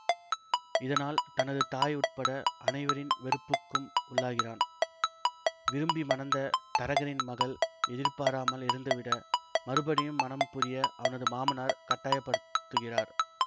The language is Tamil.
இதனால் தனது தாய் உட்பட அனைவரின் வெறுப்புக்கும் உள்ளாகிறான் விரும்பி மணந்த தரகரின் மகள் எதிர்பாராமல் இறந்து விட மறுபடியும் மணம் புரிய அவனது மாமனார் கட்டயப்படுத்துகிறார்